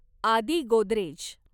Aadi Godrej